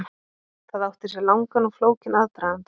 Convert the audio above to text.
Það átti sér langan og flókinn aðdraganda.